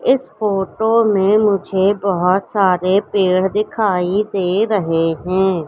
इस फोटो में मुझे बहोत सारे पेड़ दिखाई दे रहे हैं।